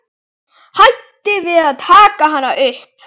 Hætti við að taka hana upp.